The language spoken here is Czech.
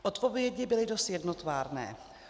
Odpovědi byly dost jednotvárné.